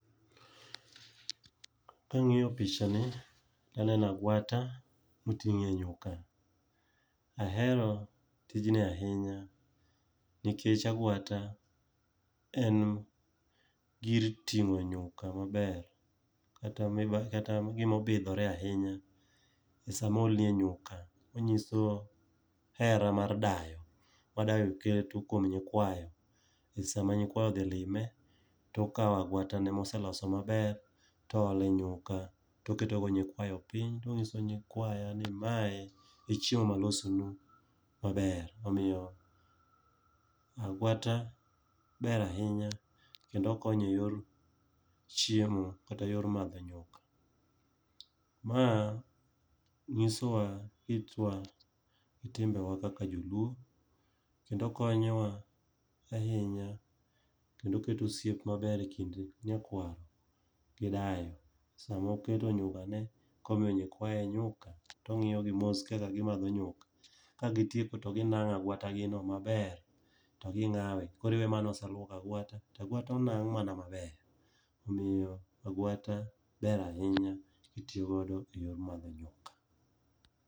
Kang'iyo picha ni tanena agwata miting'e nyuka. Ahero tijni ahinya, nikech agwata en gir ting'o nyuka maber. Kata miba kata gimobidhore ahinya, e samoolnie nyuka. Onyiso hera mar dayo, ma dayo keto kuom nyikwayo. Kech sama nyikwayo odhi lime, tokawo agwata ne moseloso maber, toole nyuka. Toketo go nyikwayo piny tong'iso nyikwaya ni mae e chiemo malosonu maber. Omiyo agwata ber ahinya kendo konyo e yor chiemo, kata yor madho nyuka. Ma nyisowa kitwa gi timbe wa kaka joluo. Kendo konyowa ahinya, kendo keto osiep maber e kind nyakwaro gi dayo. Sama oketo nyuka ne komiyo nyikayo nyuka, tong'iyo gi mos kaka gimadho nyuka. Ka gitieko to ginang'o agwata gi no maler, to ging'awe. Koriwe mana ni oseluok agwata, tagwata onang' mana maler. Omiyo agwata ber ahinya itiyogodo e yor madho nyuka.